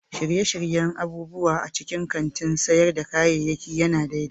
Shirye-shiryen abubuwa a cikin kantin sayar da kayayyaki ya na daidai